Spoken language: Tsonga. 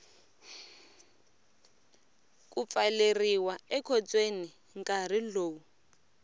ku pfaleriwa ekhotsweni nkarhi lowu